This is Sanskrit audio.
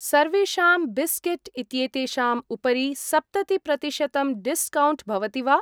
सर्वेषां बिस्केट् इत्येतेषां उपरि सप्तति प्रतिशतं डिस्कौण्ट् भवति वा?